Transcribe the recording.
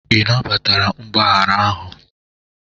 Ị nabatara mgbaghara ahụ?